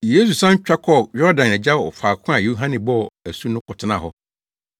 Yesu san twa kɔɔ Yordan agya wɔ faako a Yohane bɔ asu no kɔtenaa hɔ.